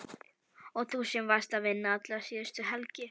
Og þú sem varst að vinna alla síðustu helgi!